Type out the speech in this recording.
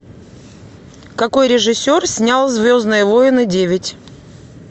какой режиссер снял звездные войны девять